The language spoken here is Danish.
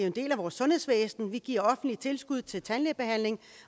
en del af vores sundhedsvæsen og vi giver offentlige tilskud til tandlægebehandling